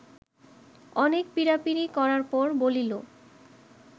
অনেক পীড়াপীড়ি করার পর বলিল